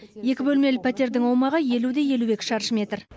екі бөлмелі пәтердің аумағы елу де елу екі шаршы метр